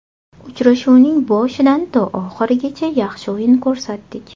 Uchrashuvning boshidan to oxirigacha yaxshi o‘yin ko‘rsatdik.